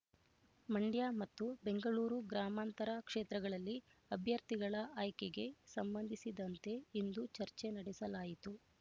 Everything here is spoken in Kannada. ಮಂಡ್ಯ ಮತ್ತು ಬೆಂಗಳೂರು ಗ್ರಾಮಾಂತರ ಕ್ಷೇತ್ರಗಳಲ್ಲಿ ಅಭ್ಯರ್ಥಿಗಳ ಆಯ್ಕೆಗೆ ಸಂಬಂಧಿಸಿದಂತೆ ಇಂದು ಚರ್ಚೆ ನಡೆಸಲಾಯಿತು